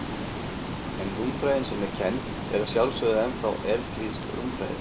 En rúmfræðin sem er kennd er að sjálfsögðu ennþá evklíðsk rúmfræði.